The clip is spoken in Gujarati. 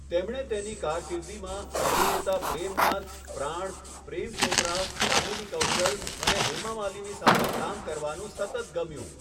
તેમને તેની કારકિર્દીમાં અભિનેતા પ્રેમ નાથ, પ્રાણ, પ્રેમ ચોપરા, કામિની કૌશલ અને હેમા માલિની સાથે કામ કરવાનું સતત ગમ્યું.